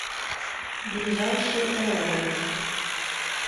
ближайший эол